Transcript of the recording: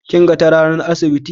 kin gan ta ranar asibi?